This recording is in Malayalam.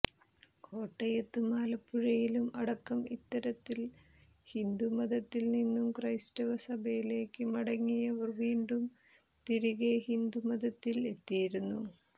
കോട്ടയത്തും ആലപ്പുഴയിലും അടക്കം ഇത്തരത്തിൽ ഹിന്ദു മതത്തിൽ നിന്നും ക്രൈസ്തവ സഭയിലേക്ക് മടങ്ങിയവർ വീണ്ടും തിരികെ ഹിന്ദു മതത്തിൽ എത്തിയിരുന്നു